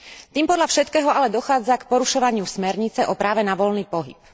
Tým podľa všetkého ale dochádza k porušovaniu smernice o práve na voľný pohyb.